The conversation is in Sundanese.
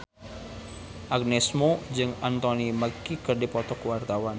Agnes Mo jeung Anthony Mackie keur dipoto ku wartawan